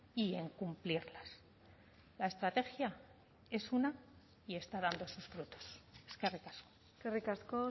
y en cumplirlas la estrategia es una y está dando sus frutos eskerrik asko eskerrik asko